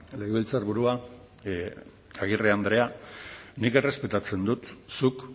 legebiltzarburua agirre andrea nik errespetatzen dut zuk